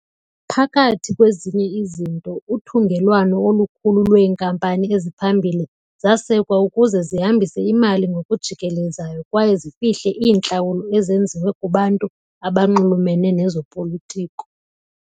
Phakathi kwezinye izinto, uthungelwano olukhulu lweenkampani eziphambili zasekwa ukuze zihambise imali ngokujikelezayo kwaye zifihle iintlawulo ezenziwe kubantu abanxulumene nezopolitiko.